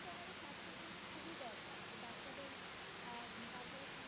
খুবই দরকার যে বাচ্চাদের আহ তারপর